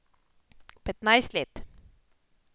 Petnajst let.